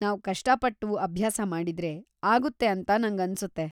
ನಾವ್‌ ಕಷ್ಟಪಟ್ಟು ಅಭ್ಯಾಸ ಮಾಡಿದ್ರೆ ಆಗುತ್ತೆ ಅಂತ ನಂಗನ್ಸುತ್ತೆ.